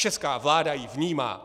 Česká vláda ji vnímá.